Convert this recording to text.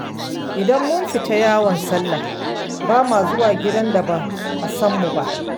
Idan mun fita yawon sallah, ba ma zuwa gidan da ba a san mu ba.